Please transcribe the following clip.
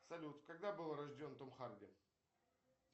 салют когда был рожден том харди